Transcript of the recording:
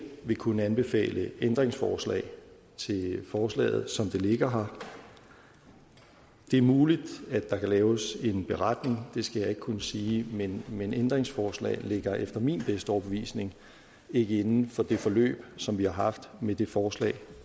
vil kunne anbefale ændringsforslag til forslaget som det ligger her det er muligt at der kan laves en beretning det skal jeg ikke kunne sige men men ændringsforslag ligger efter min bedste overbevisning ikke inden for det forløb som vi har haft med det forslag